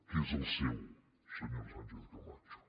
que és el seu senyora sánchez camacho